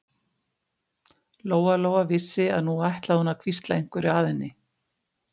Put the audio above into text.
Lóa-Lóa vissi að nú ætlaði hún að hvísla einhverju að henni.